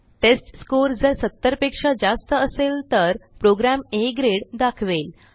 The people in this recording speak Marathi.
टेस्टस्कोर जर 70 पेक्षा जास्त असेल तर प्रोग्रॅम आ ग्रेड दाखवेल